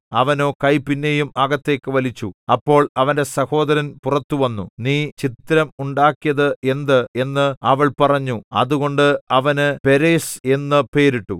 അവനോ കൈ പിന്നെയും അകത്തേക്കു വലിച്ചു അപ്പോൾ അവന്റെ സഹോദരൻ പുറത്തു വന്നു നീ ഛിദ്രം ഉണ്ടാക്കിയത് എന്ത് എന്ന് അവൾ പറഞ്ഞു അതുകൊണ്ട് അവന് പേരെസ്സ് എന്നു പേരിട്ടു